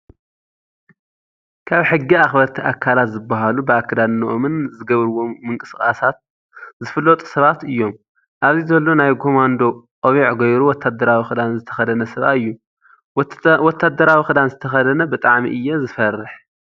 ካብ ሕጊ ኣክበርቲ ኣከላት ዝባሃሉ ብኣከዳድነኦምን ዝገብርዎም ምቅስቃሳት ዝፍለጡ ሰባት እዮም ኣብዚ ዘሎ ናይ ጎማዶ ቆቢዕ ገይሩ ወታድራዊ ክዳን ዝተከደነ ሰብኣይ እዩ። ወታድራዊ ክዳን ዝተከደነ ብጣዕሚ እየ ዝፈርሕ።